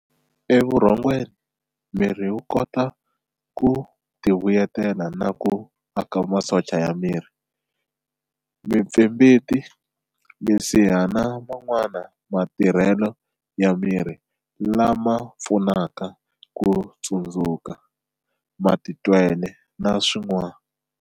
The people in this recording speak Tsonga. Evurhongweni, miri wu kota ku tivuyeleta na ku aka masocha ya miri, mipfimbiti, misiha na man'wana ma tirhele ya miri lama pfunaka kutsundzuka, matitwele na swin'wana.